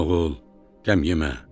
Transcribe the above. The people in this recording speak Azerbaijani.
Oğul, qəm yemə.